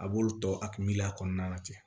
A b'olu tɔ a miliya kɔnɔna na ten